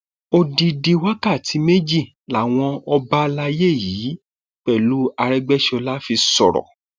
odidi wákàtí méjì làwọn ọba àlàyé yìí pẹlú aregbèsọlá fi sọrọ